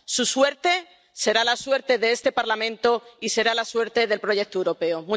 Su suerte será la suerte de este Parlamento y será la suerte del proyecto europeo.